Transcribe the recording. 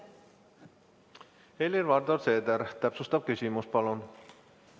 Helir-Valdor Seeder, täpsustav küsimus, palun!